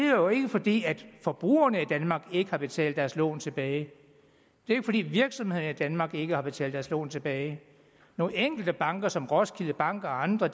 jo ikke fordi forbrugerne i danmark ikke havde betalt deres lån tilbage det var fordi virksomhederne i danmark ikke havde betalt deres lån tilbage nogle enkelte banker som roskilde bank og andre